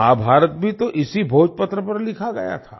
महाभारत भी तो इसी भोजपत्र पर लिखा गया था